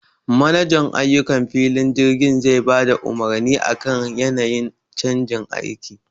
Manajan ayukan filin jirgi zai bada umurni akan yanayin canjin aiki